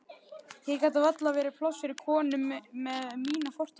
Hér gat varla verið pláss fyrir konu með mína fortíð.